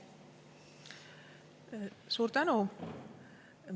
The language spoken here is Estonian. Suur tänu!